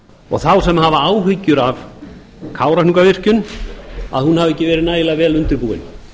og þá sem hafa áhyggjur af kárahnjúkavirkjun að hún hafi ekki verið nægilega vel undirbúin